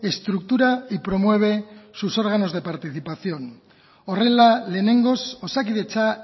estructura y promueve sus órganos de participación horrela lehenengoz osakidetza